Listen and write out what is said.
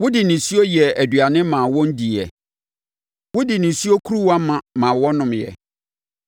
Wode nisuo yɛɛ aduane maa wɔn diiɛ; wode nisuo kuruwa ma ma wɔnomeeɛ.